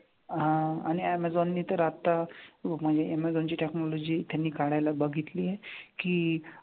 हां आणि ऍमेझॉन नी तर आता म्हणजे ऍमेझॉनची technology त्यांनी काढायला बघितली आहे की,